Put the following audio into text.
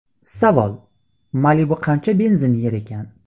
Savol: Malibu qancha benzin yer ekan?